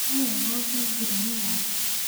Nĩ wega ũhingĩre mũrango.